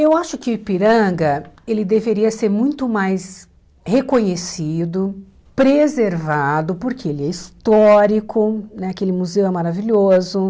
Eu acho que o Ipiranga ele deveria ser muito mais reconhecido, preservado, porque ele é histórico, né aquele museu é maravilhoso.